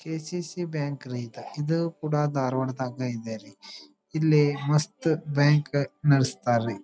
K C C bank ರೀ ಇದ ಇದು ಕೂಡ ಧಾರವಾಡ ದಾಗು ಕೂಡ ಇದೆ ರೀ ಇಲ್ಲಿ ಮಸ್ತ್ ಬ್ಯಾಂಕ್ ನಡೆಸ್ತಾರ್ ರೀ .